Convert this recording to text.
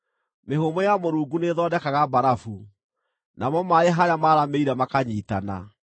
Mĩhũmũ ya Mũrungu nĩĩthondekaga mbarabu, namo maaĩ harĩa maaramĩire makanyiitana.